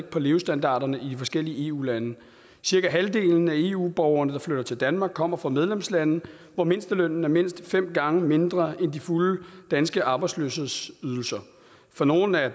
på levestandarderne i de forskellige eu lande cirka halvdelen af eu borgerne der flytter til danmark kommer fra medlemslandene hvor mindstelønnen er mindst fem gange mindre end de fulde danske arbejdsløshedsydelser for nogle er